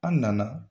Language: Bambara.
An nana